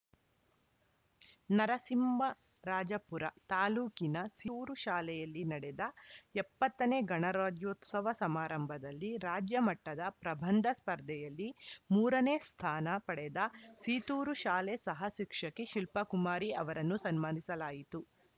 ನರಸಿಂಹರಾಜಪುರ ತಾಲೂಕಿನ ಸೀರು ಶಾಲೆಯಲ್ಲಿ ನಡೆದ ಎಪ್ಪತ್ತ ನೇ ಗಣರಾಜ್ಯೋತ್ಸವ ಸಮಾರಂಭದಲ್ಲಿ ರಾಜ್ಯ ಮಟ್ಟದ ಪ್ರಬಂಧ ಸ್ಪರ್ಧೆಯಲ್ಲಿ ಮೂರ ನೇ ಸ್ಥಾನ ಪಡೆದ ಸೀತೂರು ಶಾಲೆ ಸಹ ಶಿಕ್ಷಕಿ ಶಿಲ್ಪಕುಮಾರಿ ಅವರನ್ನು ಸನ್ಮಾನಿಸಲಾಯಿತು